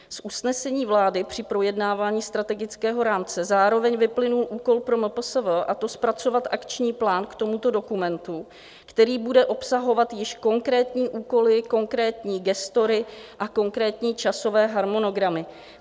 Z usnesení vlády při projednávání strategického rámce zároveň vyplynul úkol pro MPSV, a to zpracovat akční plán k tomuto dokumentu, který bude obsahovat již konkrétní úkoly, konkrétní gestory a konkrétní časové harmonogramy.